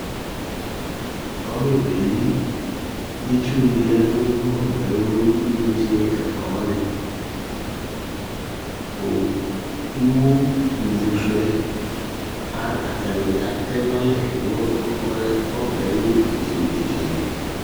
Ɔbɛ beyeli Itsu dini ya nu inetse efuafuɛ O iwo ivusuɛ atani atɛnalɛ nu tinetse ni netse